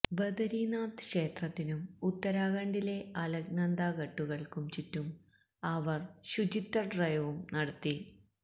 ബദരീനാഥ് ക്ഷേത്രത്തിനും ഉത്തരാഖണ്ഡിലെ അലക്നന്ദ ഘട്ടുകള്ക്കും ചുറ്റും അവര് ശുചിത്വ ഡ്രൈവും നടത്തി